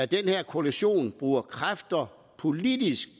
den her koalition kræfter politisk